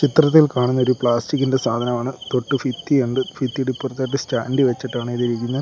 ചിത്രത്തിൽ കാണുന്നത് ഒരു പ്ലാസ്റ്റിക്കിന്റെ സാധനം ആണ് തൊട്ട് ഭിത്തിയുണ്ട് ഭിത്തിയുടെ ഇപ്പുറത്തായിട്ട് സ്റ്റാൻഡി വെച്ചിട്ടാണ് ഇത് ഇരിക്കുന്നത്.